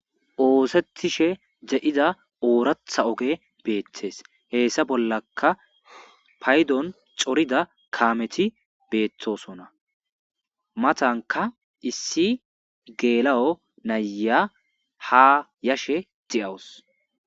Oosettishe de7ida ooratha oge beettes heessa bollaka paydon corida kaameti beettosona matanka issi geela7o naya ha yashe de7awus.